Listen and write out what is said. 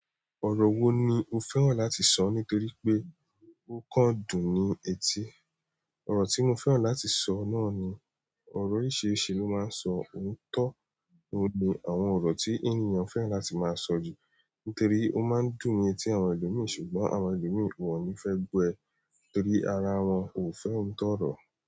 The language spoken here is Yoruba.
Ọ̀rọ̀ wo ni o fẹ́ràn láti sọ nítorí pé ó kán dùn ní etí? Ọ̀rọ̀ tí mo fẹ́ràn láti sọ náà ni ọ̀rọ̀ oríṣiríṣi ló máa ń sọ òótọ́ oun ni àwọn ọ̀rọ̀ tí ènìyàn fẹ́ràn láti máa sọ jù nítorí ó máa ń dùn ni etí àwọn ẹlòmíi ṣùgbọ́n àwọn ẹlòmíi won n fẹ́ gbọ́ ẹ nítorí ara wọn ò fẹ́ òótọ́ ọ̀rọ̀.